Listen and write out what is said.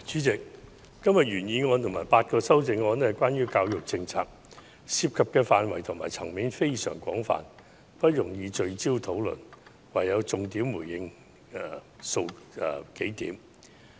主席，今天的原議案和8項修正案是關於教育政策，涉及的範圍和層面非常廣泛，不容易聚焦討論，因此我唯有重點回應其中數點。